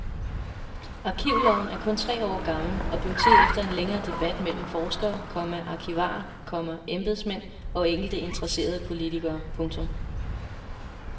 Arkivloven er kun tre år gammel og blev til efter en længere debat mellem forskere, komma arkivarer, komma embedsmænd og enkelte interesserede politikere. punktum